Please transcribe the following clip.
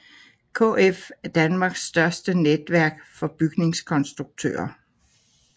KF er Danmarks største netværk for bygningskonstruktører